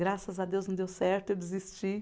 Graças a Deus não deu certo, eu desisti.